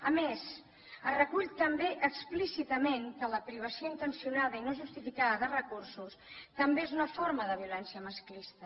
a més es recull també explícitament que la privació intencionada i no justificada de recursos també és una forma de violència masclista